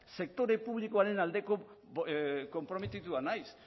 sektore publikoaren aldeko konprometitua naiz